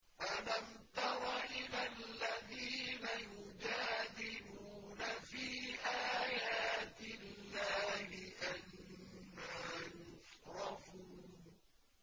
أَلَمْ تَرَ إِلَى الَّذِينَ يُجَادِلُونَ فِي آيَاتِ اللَّهِ أَنَّىٰ يُصْرَفُونَ